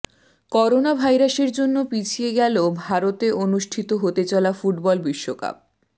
corona ভাইরাসের জন্য পিছিয়ে গেল ভারতে অনুষ্ঠিত হতে চলা ফুটবল বিশ্বকাপ